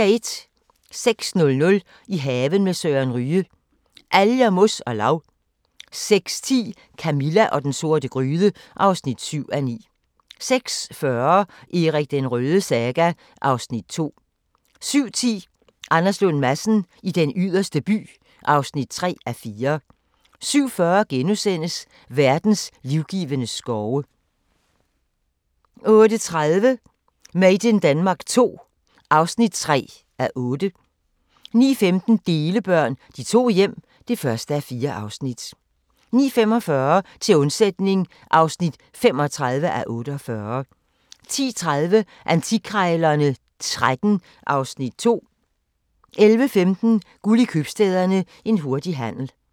06:00: I haven med Søren Ryge: Alger, mos og lav 06:10: Camilla og den sorte gryde (7:9) 06:40: Erik den Rødes saga (Afs. 2) 07:10: Anders Lund Madsen i Den Yderste By (3:4) 07:40: Verdens livgivende skove * 08:30: Made in Denmark II (3:8) 09:15: Delebørn – De to hjem (1:4) 09:45: Til undsætning (35:48) 10:30: Antikkrejlerne XIII (Afs. 2) 11:15: Guld i Købstæderne – en hurtig handel